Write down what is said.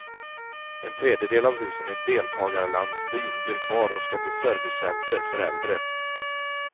En tredjedel av husen i deltagarlandsbyn blir kvar och ska bli servicecenter för äldre.